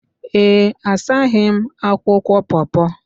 Ee, asaghị m akwụkwọ paw paw